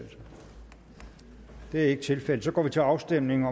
det er ikke tilfældet og så går vi til afstemning